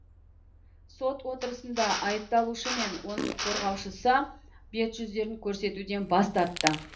сот отырысында айыпталушы мен оның қорғаушысы бет жүздерін көрсетуден бас тартты